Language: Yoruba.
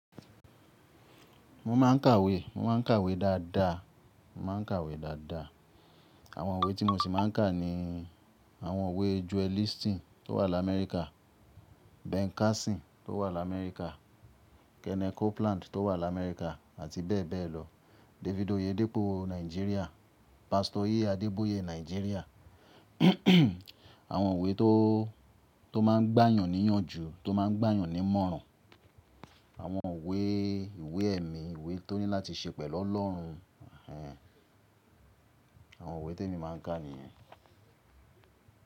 Mo máa ń kàwé, mo máa ń kàwé dáadáa, mo máa ń kàwé dáadáa. Àwọn ìwé tí mo sì máa ń kà ni àwọn ìwé Joel Osteen tó wà lá America, Ben Carson tó wà lá America, Kenneth Copeland tó wà lá America àti bẹ́ẹ̀ bẹ́ẹ̀ lọ. David Oyedepo, Nigeria. Pastor Adeboye, Nigeria. Àwọn ìwé tó, tó máa ń gbà yàn níyànjú, tó máa ń gbà yàn nímọ̀ràn. Àwọn ìwé ìwé ẹ̀mí, ìwé tó ní láti ṣe pẹ̀lú Ọlọ́run. Ẹ̀hẹ́n. Àwọn ìwé tí èmi máa ń kà nìyẹn.